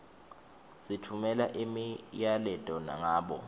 sitfumela imiyaleto ngabo